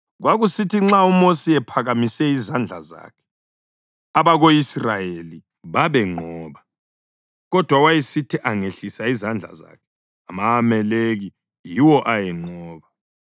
Kwakusithi nxa uMosi ephakamise izandla zakhe abako-Israyeli babenqoba, kodwa wayesithi angehlisa izandla zakhe ama-Amaleki yiwo ayenqoba.